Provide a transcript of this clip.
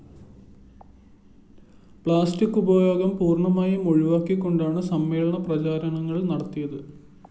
plastic ഉപയോഗം പൂര്‍ണ്ണമായും ഒഴിവാക്കിക്കൊണ്ടാണ്‌ സമ്മേളനപ്രചാരണങ്ങള്‍ നടത്തിയത്‌